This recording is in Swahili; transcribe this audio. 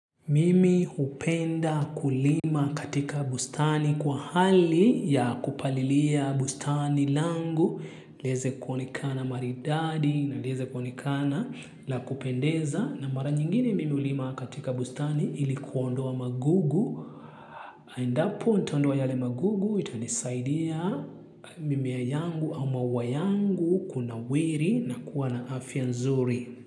Mimi hupenda kulima katika bustani kwa hali ya kupalilia bustani langu, leze kuonikana maridadi na leze kuonikana la kupendeza na mara nyingine mimi hulima katika bustani ilikuondoa magugu. Endapo, nitaondoa yale magugu, itanisaidia mimea yangu au maua yangu kuna wiri na kuwa na afya nzuri.